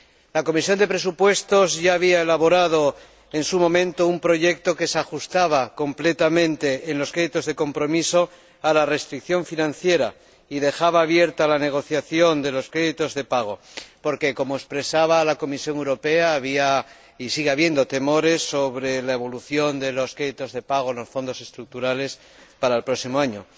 La Comisión de Presupuestos ya había elaborado un proyecto que se ajustaba completamente, en los créditos de compromiso, a la restricción financiera y dejaba abierta la negociación de los créditos de pago porque, como afirmaba la Comisión Europea, había y sigue habiendo temores sobre la evolución de los créditos de pago en los Fondos Estructurales para el próximo año.